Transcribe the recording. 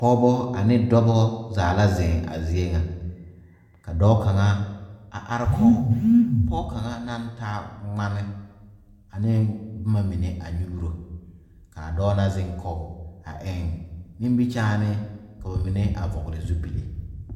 Pɔɔbɔ ane dɔbɔ zaa la zeŋ a zie ŋa ka dɔɔ kaŋa a are kɔg pɔg kaŋa naŋ taa ngmane aneŋ bomma mine a nyuuro kaa dɔɔ na zeŋ kɔg a eŋ nimikyaane koo mine a vɔɔle zupile.